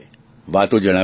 વાતો જણાવે છે